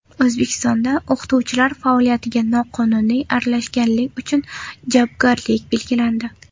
O‘zbekistonda o‘qituvchilar faoliyatiga noqonuniy aralashganlik uchun javobgarlik belgilandi.